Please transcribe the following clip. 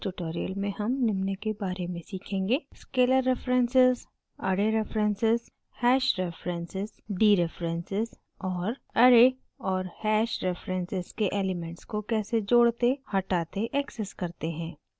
इस tutorial में हम निम्न के बारे में सीखेंगे: